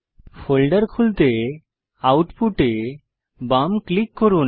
folder খুলতে output এ বাম ক্লিক করুন